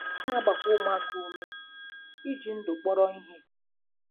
A na-agbakwa ụmụaka ume iji ndụ kpọrọ ihe.